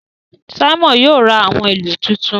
Simon yóò rá awọn ìlú tuntun